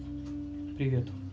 привет